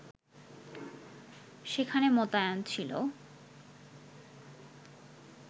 সেখানে মোতায়েন ছিল